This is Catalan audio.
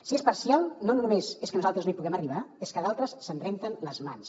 si és parcial no només és que nosaltres no hi puguem arribar és que d’altres se’n renten les mans